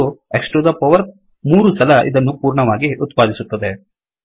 ಇದು X to the power 3 ಸಲ ಇದನ್ನು ಪೂರ್ಣವಾಗಿ ಉತ್ಪಾದಿಸುತ್ತದೆ